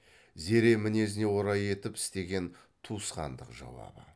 зере мінезіне орай етіп істеген туысқандық жауабы